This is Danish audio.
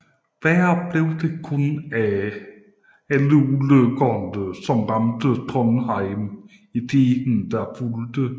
Værre blev det kun af alle ulykkerne som ramte Trondheim i tiden der fulgte